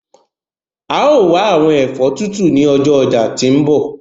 A yóò wa awọn ẹfọ tutu ni ọjọ ọja ti nbọ